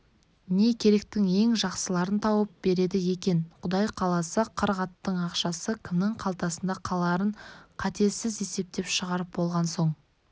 не керектің ең жақсыларын тауып береді екен құда қаласа қырық аттың ақшасы кімнің қалтасында қаларын қатесіз есептеп шығарып болған соң